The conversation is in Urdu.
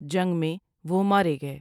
جنگ میں وہ مارے گئے ۔